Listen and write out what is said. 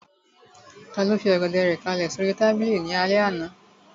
Taló fi Ọ̀gẹ̀dẹ̀ rẹ̀ kálẹ̀ sóri tábìlì náà ní alẹ́ àná?